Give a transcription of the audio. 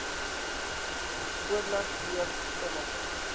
oorleg pleeg sommige